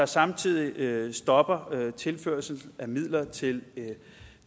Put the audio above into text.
samtidig stopper tilførsel af midler til